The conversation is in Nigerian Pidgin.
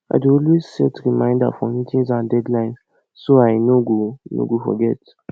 i dey always set reminder for meetings and deadlines so i no go no go forget